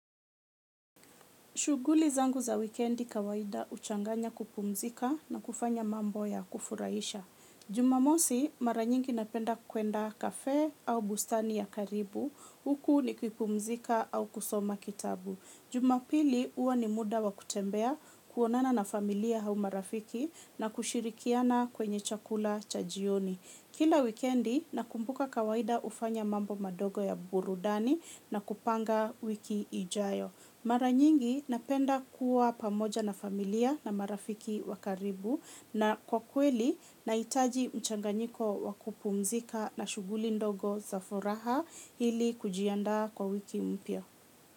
Shughuli zangu za wikendi kawaida huchanganya kupumzika na kufanya mambo ya kufuraisha. Jumamosi mara nyingi napenda kuenda cafe au bustani ya karibu, huku nikipumzika au kusoma kitabu. Jumapili huwa ni muda wa kutembea, kuonana na familia au marafiki na kushirikiana kwenye chakula cha jioni. Kila wikendi nakumbuka kawaida hufanya mambo madogo ya burudani na kupanga wiki ijayo. Mara nyingi napenda kuwa pamoja na familia na marafiki wa karibu na kwa kweli nahitaji mchanganyiko wa kupumzika na shughuli ndogo za furaha ili kujiandaa kwa wiki mpya.